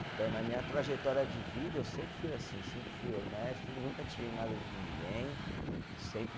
Então, na minha trajetória de vida, eu sempre fui assim, sempre fui honesto, nunca tirei nada de ninguém, sempre